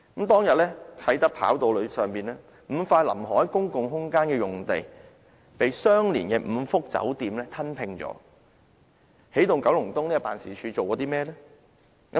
當日啟德跑道上 ，5 塊臨海公共空間用地，被相連的5幅酒店用地吞拼，起動九龍東辦事處做過甚麼呢？